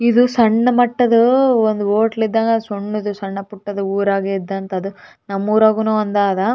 ಇದು ಸಣ್ಣ ಮಟ್ಟದ ಒಂದು ಹೋಟೆಲ್ ಇದ್ದಂಗ ಸಣ್ಣದು ಸಣ್ಣ ಪುಟ್ಟ ಊರಾಗೆ ಇದ್ದಂಥದು ನಮ್ಮೂರ್ನಾಗೂ ಒಂದು ಅದಾ.